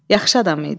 Yaxşı adam idi.